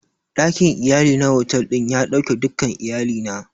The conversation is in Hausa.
Ɗakin iyali na otal ɗin ya ɗauke dukkan iyalina.